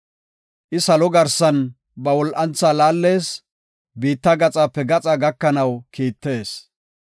I salo garsan ba wol7antha laallees; biitta gaxape gaxa gakanaw kiittees.